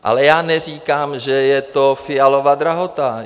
Ale já neříkám, že je to Fialova drahota.